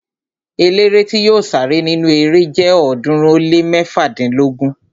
Eléré tí yóò sáré nínu erée jẹ ọ̀ọ́dúnrún ó lé mẹ́fádínlógún